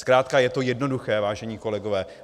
Zkrátka je to jednoduché, vážení kolegové.